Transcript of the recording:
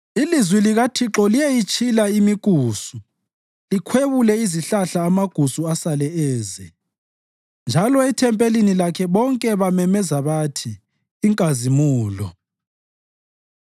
Ilizwi likaThixo liyayitshila imikusu likhwebule izihlahla amagusu asale eze. Njalo ethempelini lakhe bonke bazamemeza bathi, “Inkazimulo!”